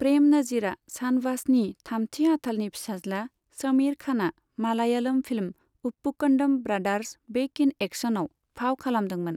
प्रेम नजीरा शानवासनि थामथि आथालनि फिसाज्ला शमीर खानआ Malayalam film 'Uppukandam brothers back in एक्शन'आव फाव खालामदोंमोन।